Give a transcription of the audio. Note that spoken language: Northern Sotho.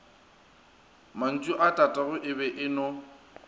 mantšuatatagwe e be e no